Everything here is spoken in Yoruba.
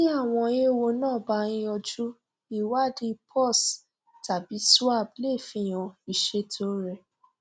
tí àwọn ewo náà bá ń yójú ìwádìí pus cs tàbí swab lè fihan ìṣètò rẹ